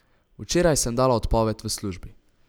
Včeraj sem dala odpoved v službi.